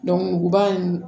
muguba nn